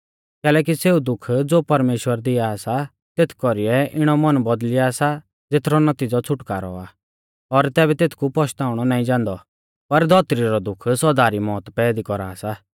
कैलैकि सेऊ दुःख ज़ो परमेश्‍वर दिआ सा तेथ कौरीऐ इणौ मन बौदल़िया सा ज़ेथरौ नतीज़ौ छ़ुटकारौ आ और तैबै तेथकु पश्ताउणौ नाईं जान्दौ पर धौतरी रौ दुःख सौदा री मौत पैदी कौरा सा